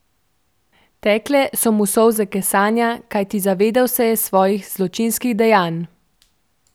Tekle so mu solze kesanja, kajti zavedel se je svojih zločinskih dejanj.